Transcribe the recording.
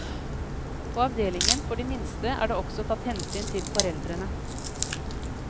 På avdelingen for de minste er det også tatt hensyn til foreldrene.